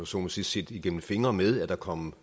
så må sige set igennem fingre med at der kom